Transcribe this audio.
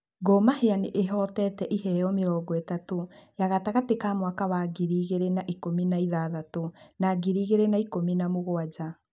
Gor Mahia nĩ ĩhotete iheo mĩrongo ĩtatũ ya gatagatĩ ka mwaka wa ngiri igĩrĩ na ikũmi na ithathatũ na ngiri igĩrĩ na ikũmi na mũgũanja.